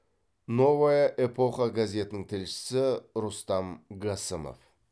новая эпоха газетінің тілшісі рустам гасымов